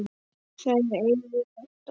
Þær eigum við alltaf.